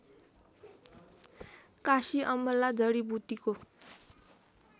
काँसी अमला जडीबुटीको